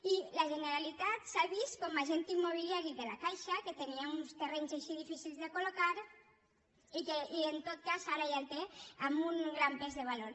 i la generalitat s’ha vist com a agent immobiliari de la caixa que tenia uns terrenys així difícils de coli que en tot cas ara ja el té amb un gran pes de valor